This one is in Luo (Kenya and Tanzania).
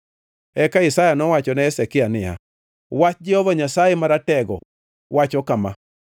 Eka Isaya nowachone Hezekia niya, “Wach Jehova Nyasaye Maratego wacho kama: